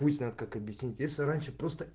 хуй знает как объяснить если раньше просто